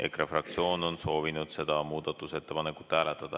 EKRE fraktsioon on soovinud seda muudatusettepanekut hääletada.